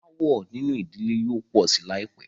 Aàwọ̀ nínú ìdílé yóò pọ̀ sí láìpẹ́.